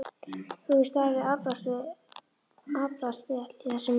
Þú hefur staðið þig afbragðsvel í þessu máli.